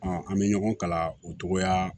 an bɛ ɲɔgɔn kala o cogo la